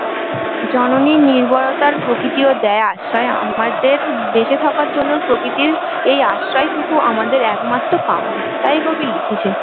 জননীর নির্বরতার প্রকৃতি ও দেয় আশ্রয় আমাদের বেঁচে থাকার জন্য প্রকৃতির এই আশ্রয়টুকু আমাদের একমাত্র কাম্য, তাই কবি লিখেছেন